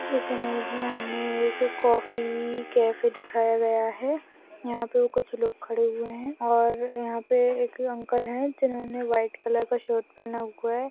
इस इमेज में हमें एक कॉफी कैफे दिखाया गया है यहाँ पे कुछ लोग खड़े हुए है और यहाँ पे एक अंकल है जिन्होंने व्हाइट कलर का शर्ट पहना हुआ है।